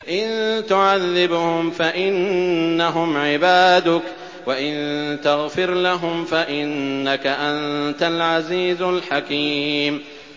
إِن تُعَذِّبْهُمْ فَإِنَّهُمْ عِبَادُكَ ۖ وَإِن تَغْفِرْ لَهُمْ فَإِنَّكَ أَنتَ الْعَزِيزُ الْحَكِيمُ